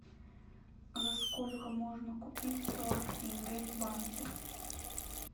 за сколько можно купить сорок тенге в банке